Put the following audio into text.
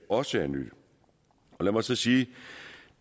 også er nyt lad mig så sige